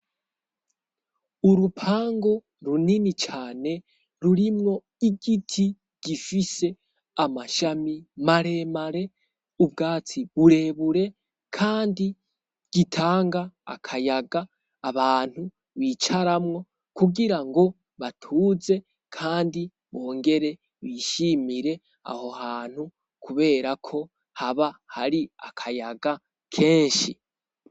Urupangu runini cane rurimwo igiti, gifise amashami maremare, ubwatsi burebure, kandi gitanga akayaga abantu bicaramwo kugira ngo batuze, kandi bongere bishimire aho hantu, kuberako haba hari akayaga kenshi.